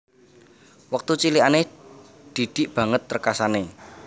Wektu cilikane Didik banget rekasane